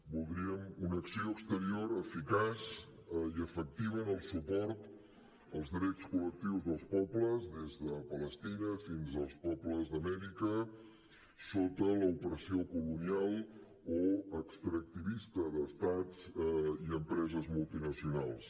voldríem una acció exterior eficaç i efectiva en el suport als drets col·lectius dels pobles des de palestina fins als pobles d’amèrica sota l’opressió colonial o extractivista d’estats i empreses multinacionals